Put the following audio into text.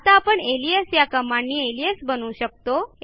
आता आपण अलियास या कमांडनी अलियास बनवू शकतो